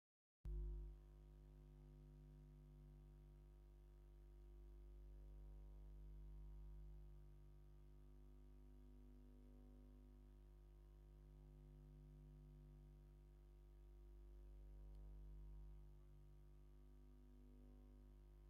ጋመ ተቖኒና ኣብ እዝና ናይ ብሩር ኩትቻ ገይራ ኣብ ክሳዳ ፀሊም ማዕተብ ዓኒቓ ዘለቶ ኸባቢ ድማ ኣብ ገጠር ይመስል እቲ ኣብ ንግባራ ዝኣሰረቶኸ እንታይ ይበሃል ።